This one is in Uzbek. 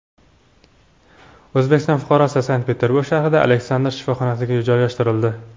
O‘zbekiston fuqarosi Sankt-Peterburg shahridagi Aleksandr shifoxonasiga joylashtirildi.